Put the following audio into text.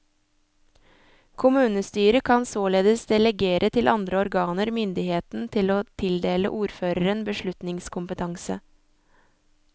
Kommunestyret kan således delegere til andre organer myndigheten til å tildele ordføreren beslutningskompetanse.